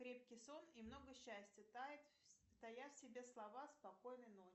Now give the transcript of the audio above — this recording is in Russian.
крепкий сон и много счастья тая в себе слова спокойной ночи